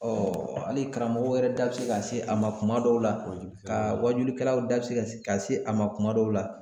hali karamɔgɔ wɛrɛ da bɛ se ka se a ma kuma dɔw la, ka wajilikɛaw da se a ma kuma dɔw la